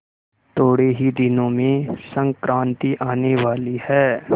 थोड़े ही दिनों में संक्रांति आने वाली है